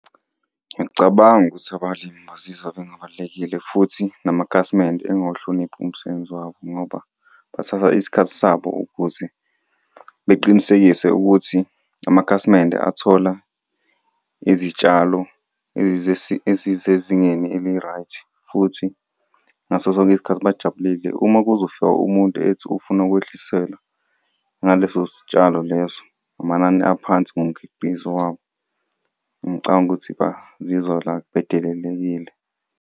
Ngiyacabanga ukuthi abalimi bazizwa bengabalulekile futhi namakhasimende engawuhloniphi umsebenzi wabo, ngoba bathatha isikhathi sabo ukuthi beqinisekise ukuthi amakhasimende athola izitshalo esisezingeni eli-right, futhi ngaso sonke isikhathi bajabulile. Uma kuzofika umuntu ethi ufuna ukwehliselwa ngaleso sitshalo leso, ngamanani aphansi ngomkhiqizo wabo, ngicabanga ukuthi bazizwa bedelelekile.